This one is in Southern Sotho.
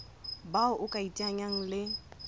bao o ka iteanyang le